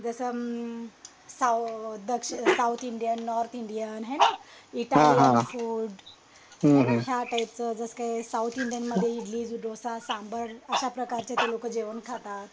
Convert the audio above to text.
जस म साऊ the south Indian north Indian हे ना इटालियन फूड आहे ना ह्या टाईपच जस काय साउथ इंडियनमध्ये इडली, डोसा, सांभार अश्या प्रकारच्या ते लोक जेवण खातात